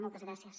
moltes gràcies